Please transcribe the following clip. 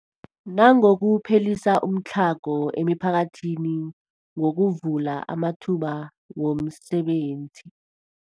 Nangokuphelisa umtlhago emiphakathini ngokuvula amathuba wemisebenzi.